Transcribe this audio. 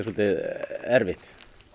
erfitt